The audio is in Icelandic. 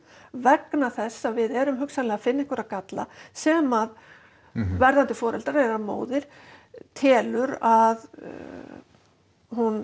vegna þess að við erum hugsanlega að finna galla sem að verðandi foreldrar eða móðir telur að hún